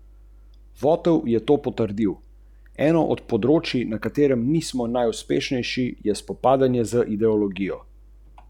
Vendar tega niso mogli uresničiti.